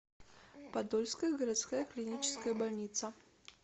подольская городская клиническая больница